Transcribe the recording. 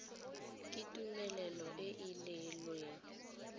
ke tumelelo e e neelwang